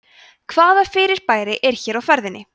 hvaða fyrirbæri er hér á ferðinni